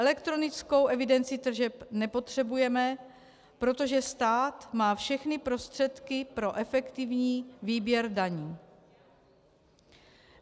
Elektronickou evidenci tržeb nepotřebujeme, protože stát má všechny prostředky pro efektivní výběr daní.